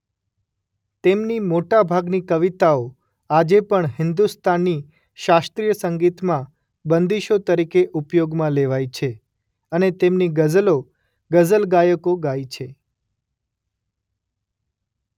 તેમની મોટા ભાગની કવિતાઓ આજે પણ હિન્દુસ્તાની શાસ્ત્રીય સંગીતમાં બંદીશો તરીકે ઉપયોગમાં લેવાય છે અને તેમની ગઝલો ગઝલ ગાયકો ગાય છે.